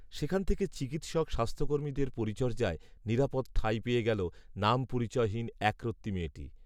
সেখান থেকে চিকিৎসক স্বাস্থ্যকর্মীদের পরিচর্যায়, নিরাপদ ঠাঁই পেয়ে গেল, নামপরিচয়হীন, একরত্তি মেয়েটি